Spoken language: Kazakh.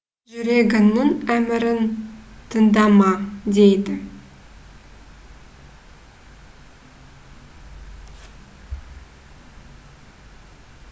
жүрегіңнің әмірін тыңдама дейді